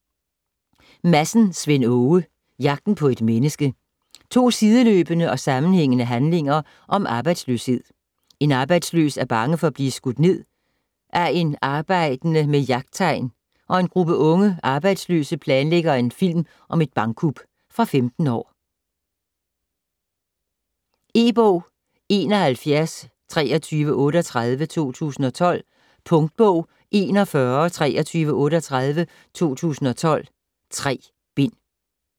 Madsen, Svend Åge: Jagten på et menneske To sideløbende og sammenhængende handlinger om arbejdsløshed. En arbejdsløs er bange for at blive skudt ned af en arbejdende med jagttegn, og en gruppe unge arbejdsløse planlægger en film om et bankkup. Fra 15 år. E-bog 712338 2012. Punktbog 412338 2012. 3 bind.